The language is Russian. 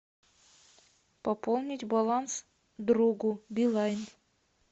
пополнить баланс другу билайн